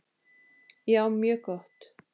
Já, mjög gott.